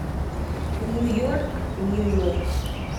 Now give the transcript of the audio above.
нью йорк нью йорк